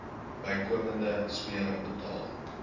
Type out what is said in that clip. bykomende smere betaal